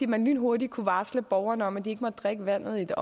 man lynhurtigt kunne varsle borgerne om at de ikke måtte drikke vandet